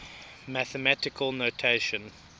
mathematical notation